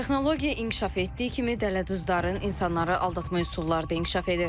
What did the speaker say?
Texnologiya inkişaf etdiyi kimi dələduzların insanları aldatmaq üsulları da inkişaf edir.